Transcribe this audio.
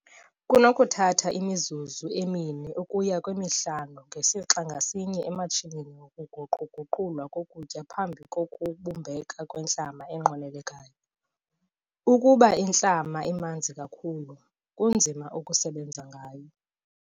Kunokuthatha imizuzu emi-4 ukuya kwemi-5 ngesixa ngasinye ematshinini wokuguqu-guqulwa kokutya phambi kokubumbeka kwentlama enqwenelekayo. Ukuba intlama imanzi kakhulu, kunzima ukusebenza ngayo.